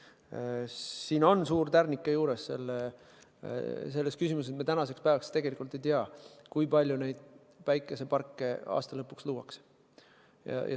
Aga siin on suur tärnike juures: selles küsimuses me tänaseks päevaks tegelikult ei tea, kui palju päikeseparke aasta lõpuks luuakse.